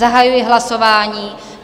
Zahajuji hlasování.